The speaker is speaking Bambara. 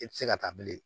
I tɛ se ka taa bilen